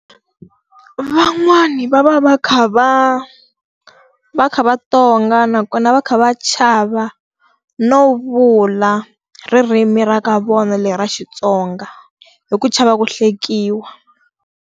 Van'wani va va va kha va va kha va tonga nakona va kha va chava no vula ririmi ra ka vona leri ra Xitsonga, hi ku chava ku hlekiwa.